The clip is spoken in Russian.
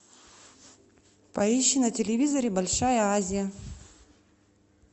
поищи на телевизоре большая азия